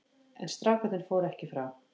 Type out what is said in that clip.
En strákarnir fóru ekki frá.